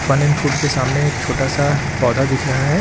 Fun n food के सामने एक छोटा सा पौधा दिख रहा है।